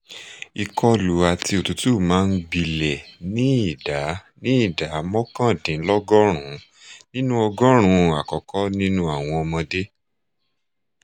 ìkọlù àti òtútù máa ń gbilẹ̀ ní ìdá ní ìdá mọ́kàndínlọ́gọ́rùn-ún nínú ọgọ́rùn-ún àkókò nínú àwọn ọmọdé